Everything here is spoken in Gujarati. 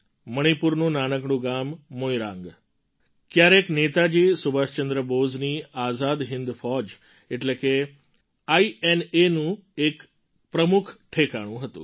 મણિપુરનું નાનકડું ગામ મોઇરાંગ ક્યારેક નેતાજી સુભાષચંદ્ર બોઝની આઝાદ હિન્દ ફૌજ એટલે કે આઈએનએનું એક પ્રમુખ ઠેકાણું હતું